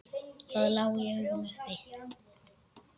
Það lá í augum uppi.